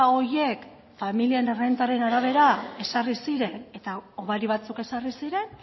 horiek familien errentaren arabera ezarri ziren eta hobari batzuk ezarri ziren